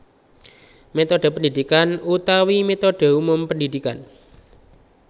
Métodhe pendidikan utawi métodhe umum pendidikan